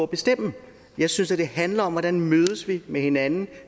bestemme jeg synes det handler om hvordan vi mødes med hinanden